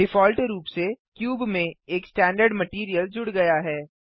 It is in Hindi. डिफ़ॉल्ट रूप से क्यूब में एक स्टैंडर्ड मटैरियल जुड़ गया है